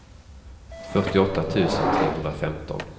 fyrtioåtta tusen trehundrafemton